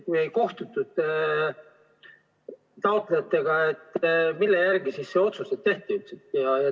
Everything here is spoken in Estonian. Kui ei kohtutud taotlejatega, mille järgi siis see otsus tehti?